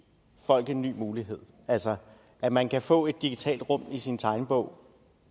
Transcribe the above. folk en ny mulighed altså at man kan få et digitalt rum i sin tegnebog